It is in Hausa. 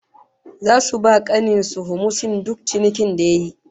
Zasu ba kanin su humusin duk cinikin da yayi